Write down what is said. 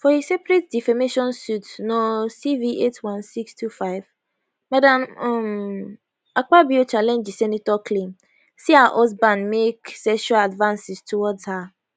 for a separate defamation suit no cv81625 madam um akpabio challenge di senator claim say her husband make sexual advances towards her